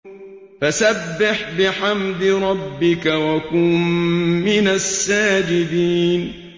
فَسَبِّحْ بِحَمْدِ رَبِّكَ وَكُن مِّنَ السَّاجِدِينَ